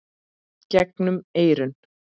gegnum eyrun.